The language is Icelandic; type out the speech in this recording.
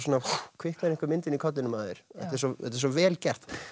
kviknar einhver mynd inni í kollinum á þér þetta er svo vel gert